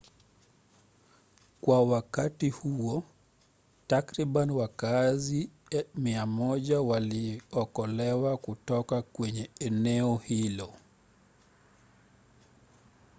kwa wakati huo takriban wakaazi 100 waliokolewa kutoka kwenye eneo hilo